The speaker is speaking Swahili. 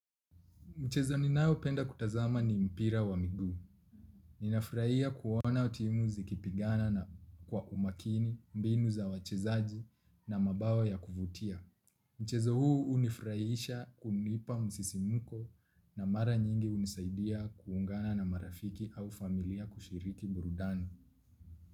Mchezo ninayopenda kutazama ni mpira wa miguu. Ninafurahia kuona timu zikipigana na kwa umakini, mbinu za wachezaji na mabao ya kuvutia. Mchezo huu unifurahisha kunipa msisimuko na mara nyingi hunisaidia kuungana na marafiki au familia kushiriki burudani.